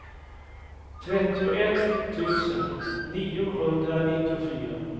trettioett tusen niohundranittiofyra